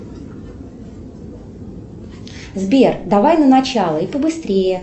сбер давай на начало и побыстрее